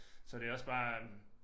Så det også bare øh